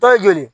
Dɔ ye joli ye